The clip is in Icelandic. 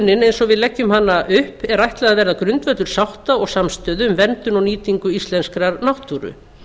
álætlunin eins og við leggjum hana upp er ætlað að vera grundvöllur sátta og samstöðu um verndun og nýtingu íslenskrar náttúru